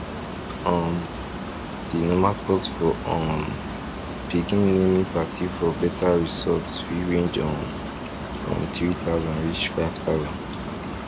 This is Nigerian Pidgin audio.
um di normal cost for um pikin naming party for better resorts fit range um from three thousand reach five thousand